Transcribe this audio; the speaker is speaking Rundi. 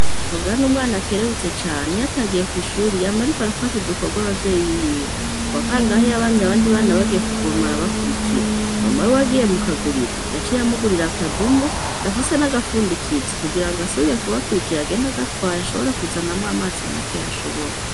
Kabura n'umwana akerebutse cane, iyo atagiye kw'ishuri yama ariko arafasha udukorwa abavyeyi biwe, ku wa kangahe yabonye abandi bana bagiye kuvoma arabakurikira, mama wiwe agiye mu kaguriro yaciye amugurira akadumu gafise n'agafundikizo kugira ngo asubiye kubakurikira agenda agatwaye ashobore kuzanamwo amazi makeya ashobore.